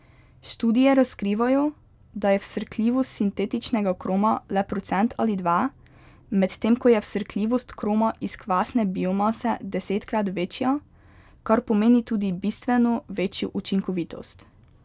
Študije razkrivajo, da je vsrkljivost sintetičnega kroma le procent ali dva, medtem ko je vsrkljivost kroma iz kvasne biomase desetkrat večja, kar pomeni tudi bistveno večjo učinkovitost.